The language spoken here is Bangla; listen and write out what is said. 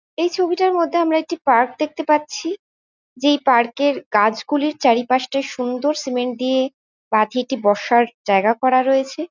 এই ছবিটার মধ্যে আমরা একটি পার্ক দেখতে পাচ্ছি। যেই পার্কে -এর গাছগুলির চারিপাশটা সুন্দর সিমেন্ট দিয়ে বাধিয়ে বসার জায়গা করা রয়েছে ।